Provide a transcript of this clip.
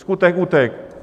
Skutek utek!